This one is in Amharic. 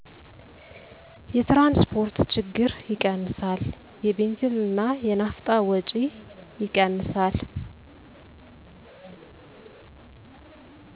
የትራንስፖርት ችግር ይቀንሳል። የቤንዚልና የናፍጣ ወጪ ይቀንሳል።